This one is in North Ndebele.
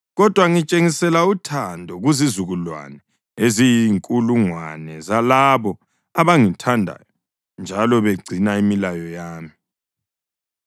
kodwa ngitshengisela uthando kuzizukulwane eziyinkulungwane zalabo abangithandayo njalo begcina imilayo yami.